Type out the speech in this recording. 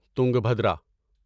Tungabhadra